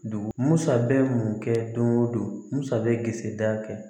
Dugu musa bɛ mun kɛ don go don musa bɛsi da kɛ